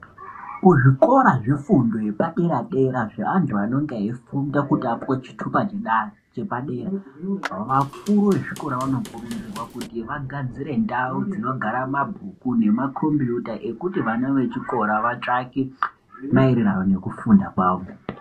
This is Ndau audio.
Kuzvikora zvefundo yepadera-dera zveanthu anonga eifunda kuti apuwe chitupa chedare chepadera, vakuru vezvikora vanokurudzirwa kuti vagadzire ndau dzinogara mabhuku nemakhombiyuta ekuti vana vechikora vatsvake, maererano nekufunda kwavo.